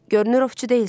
Görünür ovçu deyilsən.